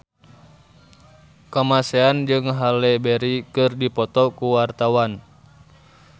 Kamasean jeung Halle Berry keur dipoto ku wartawan